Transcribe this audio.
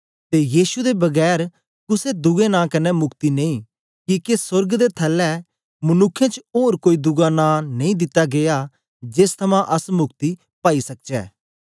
ते यीशु दे बगैर कुसे दुए नां कन्ने मुक्ति नेई किके सोर्ग दे थलै मनुक्खें च ओर कोई दुआ नां नेई दिता गीया जेस थमां अस मुक्ति पाई सकचै